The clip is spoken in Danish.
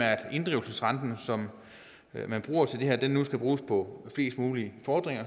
inddrivelsesrente man bruger til det her nu skal bruges på flest mulige fordringer